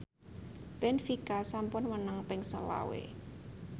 benfica sampun menang ping selawe